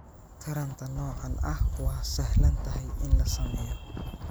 Taranta noocaan ah waa sahlan tahay in la sameeyo.